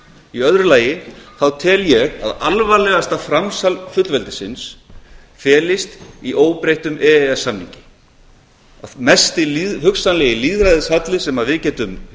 í öðru lagi tel ég að alvarlegasta framsal fullveldisins felist í óbreyttum e e s samningi mesti hugsanlegi lýðræðishalli sem við getum